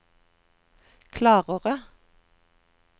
klarere